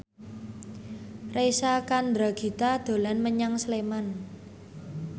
Reysa Chandragitta dolan menyang Sleman